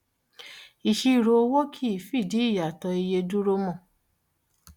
ìṣirò owó kìí fìdí ìyàtọ̀ iye dúró mọ́.